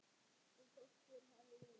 Og þótt fyrr hefði verið.